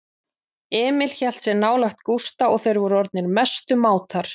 Emil hélt sig nálægt Gústa og þeir voru orðnir mestu mátar.